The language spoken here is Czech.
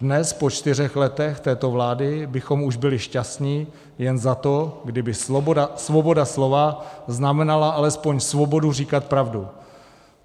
Dnes, po čtyřech letech této vlády, bychom už byli šťastni jen za to, kdyby svoboda slova znamenala alespoň svobodu říkat pravdu.